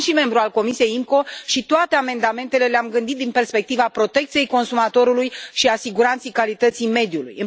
Eu sunt și membru al Comisiei IMCO și toate amendamentele le am gândit din perspectiva protecției consumatorului și a siguranței calității mediului.